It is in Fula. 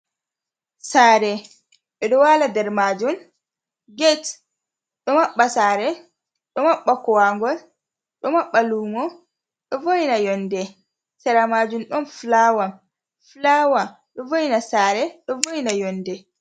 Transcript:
Sare ɓe ɗo wala nder majun, get ɗo maɓɓa sare ɗo maɓɓa kowagol ɗo maɓɓa lumo, ɗo voina yonde, sera majun don flawa flawa ɗo voina sare ɗo voina yonde.